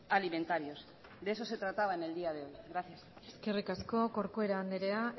alimentarios de eso se trataba en el día de hoy gracias eskerrik asko corcuera andrea